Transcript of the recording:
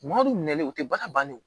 Maaw nɛlen u tɛ baara ban n'u